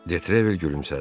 Detrevel gülümsədi.